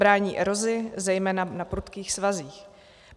Brání erozi zejména na prudkých svazích.